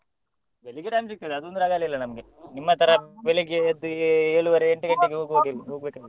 ಬೆಳ್ಳಿಗ್ಗೆ time ಸಿಕ್ತದೆ ಅದೊಂದು ರಗಾಳೆ ಇಲ್ಲ ನಮ್ಗೆ ನಿಮ್ಮ ಬೆಳ್ಳಿಗ್ಗೆ ಎದ್ದು ಏಳುವರೇ .